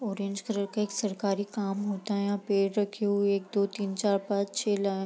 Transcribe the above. orange colour का एक सरकारी काम होता यहां पेड़ रखे हुए एक दो तीन चार पाँच छे लाइन --